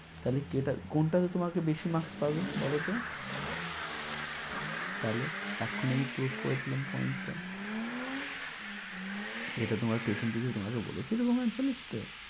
তাহলে কি এটা কোনটাতে তোমাকে বেশি marks পাবে বলত? তাহলে? এক্ষণই prove করে দিলাম point টা। এটা তোমার tuition teacher তোমাকে বলেছে এরকম answer লিখতে?